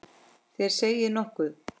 Þér segið nokkuð!